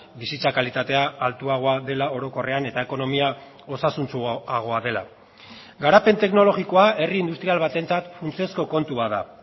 bizitza kalitatea altuagoa dela orokorrean eta ekonomia osasuntsuagoa dela garapen teknologikoa herri industrial batentzat funtsezko kontua da